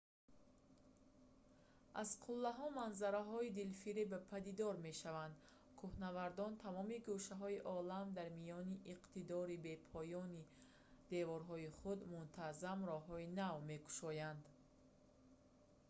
аз қуллаҳо манзараҳои дилфиреб падидор мешаванд кӯҳнавардони тамоми гӯшаҳои олам дар миёни иқтидори бепоёни деворҳои худ мунтаззам роҳҳои нав мекушоянд